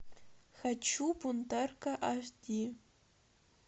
хочу бунтарка аш ди